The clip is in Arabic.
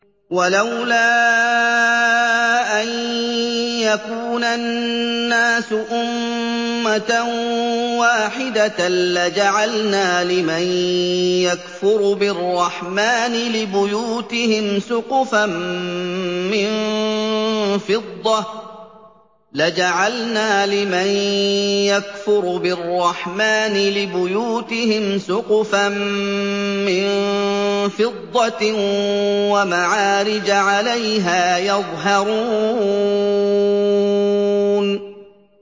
وَلَوْلَا أَن يَكُونَ النَّاسُ أُمَّةً وَاحِدَةً لَّجَعَلْنَا لِمَن يَكْفُرُ بِالرَّحْمَٰنِ لِبُيُوتِهِمْ سُقُفًا مِّن فِضَّةٍ وَمَعَارِجَ عَلَيْهَا يَظْهَرُونَ